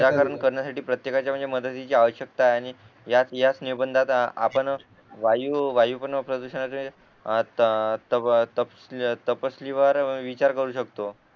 निराकरण करण्यासाठी प्रत्येकाच्या म्हणजे मदतीची आवश्यकता आहे आणि याच याच निबंधाचा आपण वाय वायू पण प्रदूषणाचा तपशीली वर विचार करू शकतो